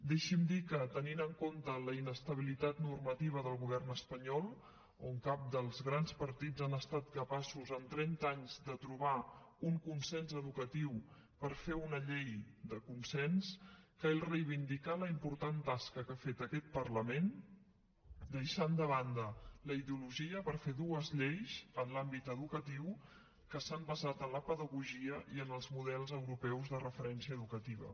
deixi’m dir que tenint en compte la inestabilitat normativa del govern espanyol on cap dels grans partits han estat capaços en trenta anys de trobar un consens educatiu per fer una llei de consens cal reivindicar la important tasca que ha fet aquest parlament deixant de banda la ideologia per fer dues lleis en l’àmbit educatiu que s’han basat en la pedagogia i en els models europeus de referència educativa